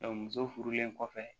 muso furulen kɔfɛ